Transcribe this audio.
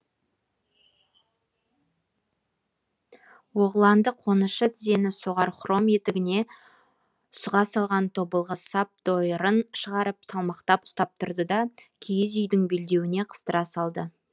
оғланды қонышы тізені соғар хром етігіне сұға салған тобылғы сап дойырын шығарып салмақтап ұстап тұрды да киіз үйдің белдеуіне қыстыра салды